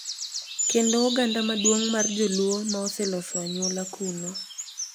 Kendo oganda maduong’ mar Joluo ma oseloso anyuola kuno.